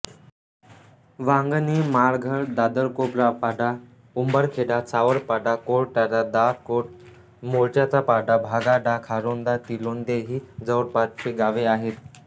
वांगणी माळघर दादरकोपरापाडा उंबरखेडा सावरपाडा कोरताड दासकोड मोर्चाचापाडा भागाडा खारोंदा तिलोंदे ही जवळपासची गावे आहेत